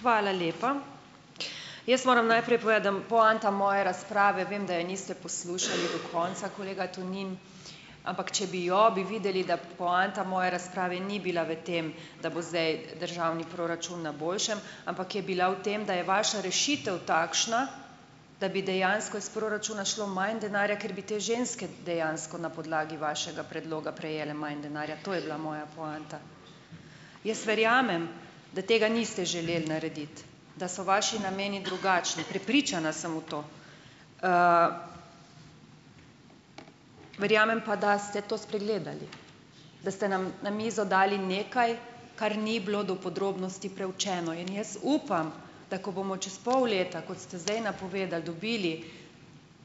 Hvala lepa. Jaz moram najprej povedati, da, poanta moje razprave - vem, da je niste poslušali do konca, kolega Tonin, ampak če bi jo, bi videli, da poanta moje razprave ni bila v tem, da bo zdaj državni proračun na boljšem, ampak je bila v tem, da je vaša rešitev takšna, da bi dejansko iz proračuna šlo manj denarja, ker bi te ženske dejansko na podlagi vašega predloga prejele manj denarja. To je bila moja poanta. Jaz verjamem, da tega niste želeli narediti, da so vaši nameni drugačni. Prepričana sem v to. Verjamem pa, da ste to spregledali. Da ste nam na mizo dali nekaj, kar ni bilo do podrobnosti preučeno. In jaz upam, da ko bomo čez pol leta, kot ste zdaj napovedali, dobili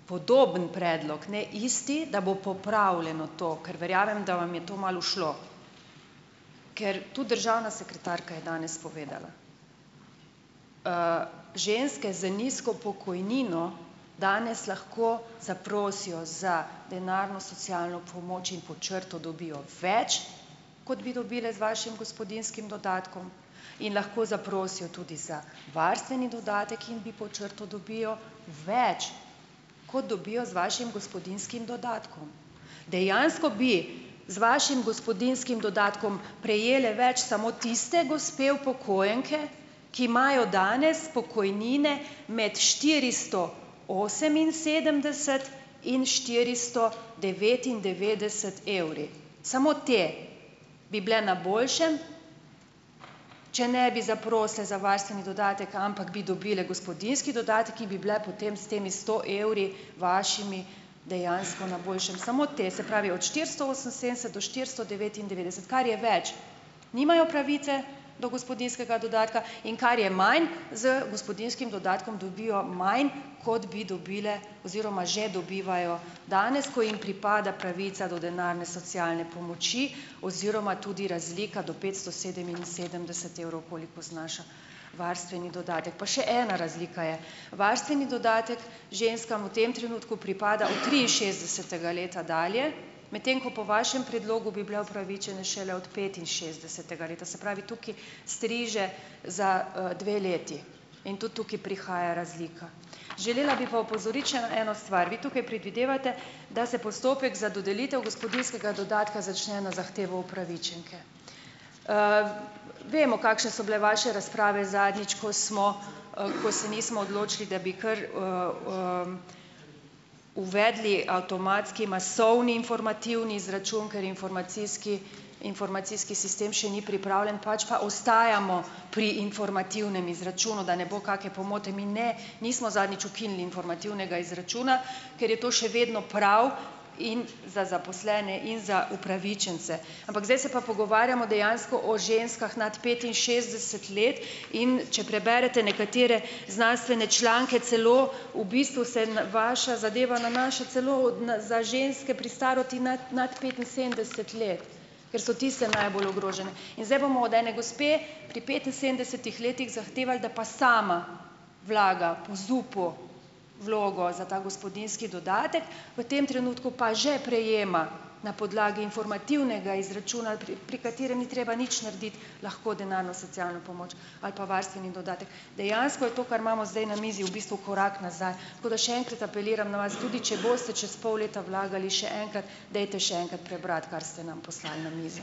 podoben predlog, ne isti, da bo popravljeno to, ker verjamem, da vam je to malo ušlo. Ker tudi državna sekretarka je danes povedala: ženske z nizko pokojnino danes lahko zaprosijo za denarno socialno pomoč in pod črto dobijo več, kot bi dobile z vašim gospodinjskim dodatkom, in lahko zaprosijo tudi za varstveni dodatek in bi pod črto dobijo več, kot dobijo z vašim gospodinjskim dodatkom. Dejansko bi z vašim gospodinjskim dodatkom prejele več samo tiste gospe upokojenke, ki imajo danes pokojnine med štiristo oseminsedemdeset in štiristo devetindevetdeset evri." Samo te bi bile na boljšem, če ne bi zaprosile za varstveni dodatek, ampak bi dobile gospodinjski dodatek in bi bile potem s temi sto evri, vašimi, dejansko na boljšem. Samo te. Se pravi, od štiristo oseminsedemdeset do štiristo devetindevetdeset, kar je več, nimajo pravice do gospodinjskega dodatka, in kar je manj, z gospodinjskim dodatkom dobijo manj, kot bi dobile oziroma že dobivajo danes, ko jim pripada pravica do denarne socialne pomoči oziroma tudi razlika do petsto sedeminsedemdeset evrov, koliko znaša varstveni dodatek. Pa še ena razlika je: varstveni dodatek ženskam v tem trenutku pripada od triinšestdesetega leta dalje, medtem ko po vašem predlogu bi bile upravičene šele od petinšestdesetega leta. Se pravi tukaj striže za, dve leti. In tudi tukaj prihaja razlika. Želela bi pa opozoriti še eno stran. Vi tukaj predvidevate, da se postopek za dodelitev gospodinjskega dodatka začne na zahtevo upravičenke. Vemo, kakšne so bile vaše razprave zadnjič, ko smo, ko se nismo odločili, da bi kar, uvedli avtomatski masovni informativni izračun, ker informacijski informacijski sistem še ni pripravljen, pač pa ostajamo pri informativnem izračunu, da ne bo kake pomote. Mi ne, nismo zadnjič ukinili informativnega izračuna, ker je to še vedno prav in za zaposlene in za upravičence. Ampak zdaj se pa pogovarjamo dejansko o ženskah nad petinšestdeset let, in če preberete nekatere znanstvene članke, celo v bistvu se vaša zadeva nanaša celo od na za ženske pri starosti nad nad petinsedemdeset let, ker so tiste najbolj ogrožene. In zdaj bomo od ene gospe pri petinsedemdesetih letih zahtevali, da pa sama vlaga po ZUP-u vlogo za ta gospodinjski dodatek, v tem trenutku pa že prejema na podlagi informativnega izračuna, pri pri katerem ni treba nič narediti, lahko denarno socialno pomoč ali pa varstveni dodatek. Dejansko je to, kar imamo zdaj na mizi, v bistvu korak nazaj. Tako da še enkrat apeliram na vas, tudi če boste čez pol leta vlagali še enkrat, dajte še enkrat prebrati, kar ste nam poslali na mizo.